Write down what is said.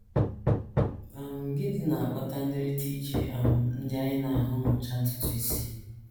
um Gịnị na - akpata ndịrịta iche um ndị anyị na - ahụ n’ụcha ntutu isi?